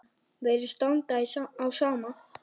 Virðist standa á sama.